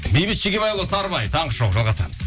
бейбіт шегебайұлы сарыбай таңғы шоу жалғастырамыз